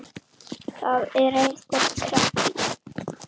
Það er einhver kreppa í